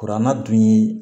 Kuranna dun ye